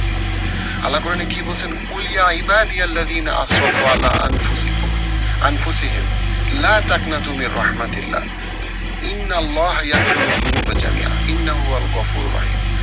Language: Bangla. আল্লাহ কোরানে কি বলছেন,